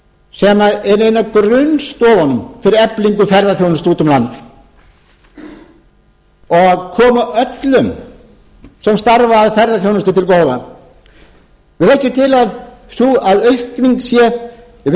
sem er ein af grunnstoðunum fyrir eflingu ferðaþjónustu út um land og koma öllum sem starfa að ferðaþjónustu til góða við leggjum til að aukningin þessar fimmtíu